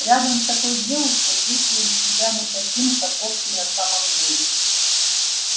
рядом с такой девушкой чувствуешь себя не таким каков ты на самом деле